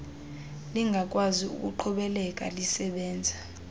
lingakwazi ukuqhubekeka lisebenza